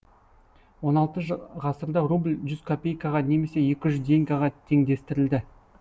он алты ғасырда рубль жүз копейкаға немесе екі жүз деньгаға теңдестірілді